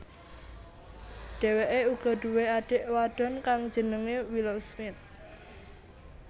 Dheweke uga duwé adik wadon kang jenenge Willow Smith